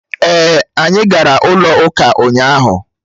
Èè, anyị gara ụlọ ụka ụnyaahụ